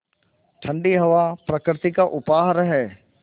ठण्डी हवा प्रकृति का उपहार है